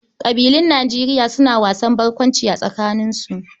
Ƙabilun Nijeriya suna wasan barkwanci a tsakaninsu.